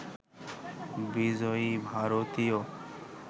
বিজয়ী ভারতীয়